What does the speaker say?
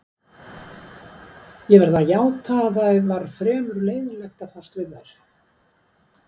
Ég verð að játa að það var fremur leiðinlegt að fást við þær.